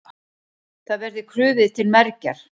Það verði krufið til mergjar.